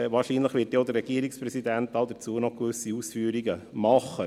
Wahrscheinlich wird dann auch noch der Regierungspräsident gewisse Ausführungen dazu machen.